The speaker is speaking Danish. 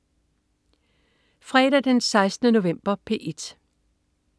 Fredag den 16. november - P1: